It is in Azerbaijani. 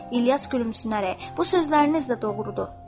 İlyas gülümsünərək, bu sözləriniz də doğrudur dedi.